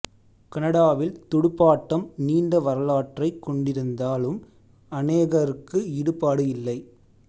கனடாவில் துடுப்பாட்டம் நீண்ட வரலாற்றைக் கொண்டிருந்தாலும் அனேகருக்கு ஈடுபாடு இல்லை